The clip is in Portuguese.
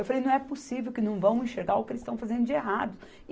Eu falei, não é possível que não vão enxergar o que eles estão fazendo de errado.